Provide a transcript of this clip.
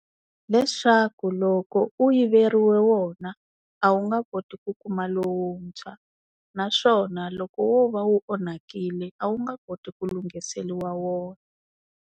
Leswaku loko u yiveriwa wona a wu nga koti ku kuma lowuntshwa naswona loko wo va wu onhakile a wu nge koti ku lunghiseriwa wona.